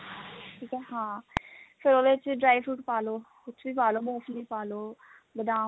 ਠੀਕ ਐ ਹਾਂ ਫੇਰ ਉਹਦੇ ਚ dry fruit ਪਾ ਲੋ ਕੁੱਛ ਵੀ ਪਾ ਲੋ ਮੁਫਲੀ ਪਾ ਲਓ ਬਦਾਮ